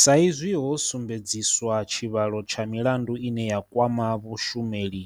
Saizwi ho sumbedziswa tshivhalo tsha milandu ine ya kwama vhashumeli